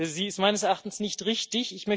Sie ist meines Erachtens nicht richtig.